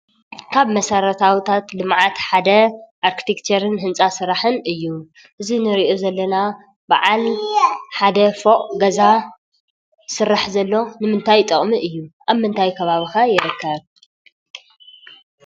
ካብ መሰረታውታት ልምዓት ሓደ ኣርክቴክቸርን ህንፃ ስራሕን እዩ። እዚ ንሪኦ ዘለና በዓል ሓደ ፎቕ ገዛ ዝስራሕ ዘሎ ንምንታይ ጥቕሚ እዩ ።ኣብ ምንታይ ከባቢ ከ ይርከብ ?